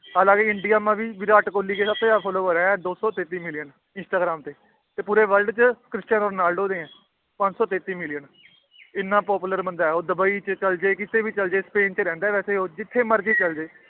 ਹਾਲਾਂਕਿ ਇੰਡੀਆ ਵੀ ਵਿਰਾਟ ਕੋਹਲੀ ਦੇ ਸਭ ਤੋਂ ਜ਼ਿਆਦਾ follower ਹੈ ਦੋ ਸੌ ਤੇਤੀ ਮਿਲੀਅਨ ਇੰਸਟਾਗ੍ਰਾਮ ਤੇ, ਤੇ ਪੂਰੇ world 'ਚ ਕ੍ਰਿਸਟਨ ਰੋਨਾਲਡੋ ਦੇ ਹੈ ਪੰਜ ਸੌ ਤੇਤੀ ਮਿਲੀਅਨ ਇੰਨਾ popular ਬੰਦਾ ਹੈ ਉਹ ਦੁਬਈ 'ਚ ਚੱਲ ਜਾਏ, ਕਿਤੇ ਵੀ ਚੱਲ ਜਾਏ ਸਪੇਨ 'ਚ ਰਹਿੰਦਾ ਹੈ ਵੈਸੇ ਉਹ ਜਿੱਥੇ ਮਰਜ਼ੀ ਚਲੇ ਜਾਏ